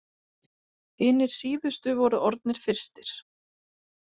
Hinir síðustu voru orðnir fyrstir.